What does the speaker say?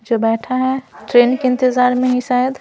जो बैठा है ट्रेन के इंतजार में ही शायद--